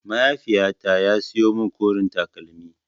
Mahaiifyata ya siyo min koren takalmi.